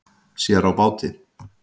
Sér á báti